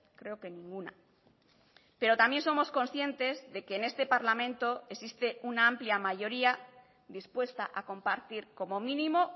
creo que ninguna pero también somos conscientes de que en este parlamento existe una amplia mayoría dispuesta a compartir como mínimo